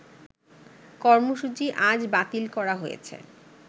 কর্মসূচি আজ বাতিল করা হয়েছে